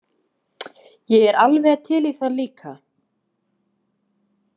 Ég er alveg til í það líka.